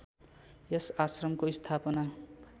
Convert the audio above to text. यस आश्रमको स्थापना